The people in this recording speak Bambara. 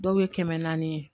Dɔw ye kɛmɛ naani ye